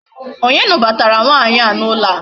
Onye nụbatara nwaanyị a n'ụlọ a?